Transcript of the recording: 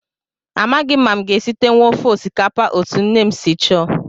Amaghị m ma aga m esitenwu ofe osikapa a etu nne m si chọọ